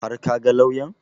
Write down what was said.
Har ka ga lauyan?